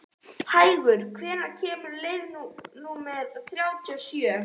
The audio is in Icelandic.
Hængur, hvenær kemur leið númer þrjátíu og sjö?